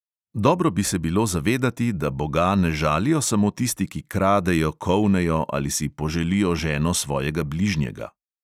Dobro bi se bilo zavedati, da boga ne žalijo samo tisti, ki kradejo, kolnejo ali si poželijo ženo svojega bližnjega.